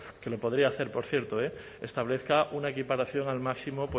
que lo podría hacer por cierto establezca una equiparación al máximo